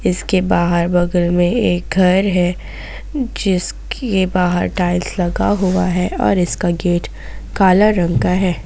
इसके बाहर बगल में एक घर है जिसके बाहर टाइल्स लगा हुआ है और इसका गेट काला रंग का है।